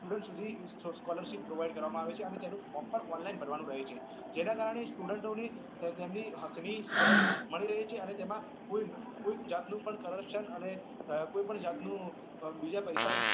student સુધી scholarship provide કરવામાં આવે છે અને તેનું form પણ online ભરવા માં આવે છે એના કારણે student ઓ તેમની હક ની scholarship મળી રહે છે અને તેમાં કોઈ જાત નું currruption અને કોઈ પણ જાત નું બીજા પૈસા